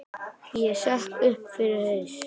Ég sökk upp fyrir haus.